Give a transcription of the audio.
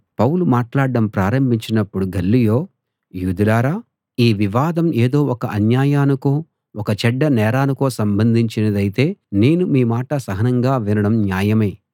పౌలు మాట్లాడడం ప్రారంభించినపుడు గల్లియో యూదులారా ఈ వివాదం ఏదో ఒక అన్యాయానికో ఒక చెడ్డ నేరానికో సంబంధించినదైతే నేను మీ మాట సహనంగా వినడం న్యాయమే